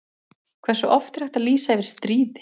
Hversu oft er hægt að lýsa yfir stríði?